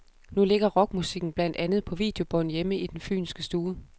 Nu ligger rockmusikken blandt andet på videobånd hjemme i den fynske stue.